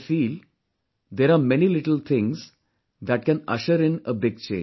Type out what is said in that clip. I feel there are many little things that can usher in a big change